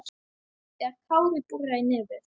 þegar Kári boraði í nefið.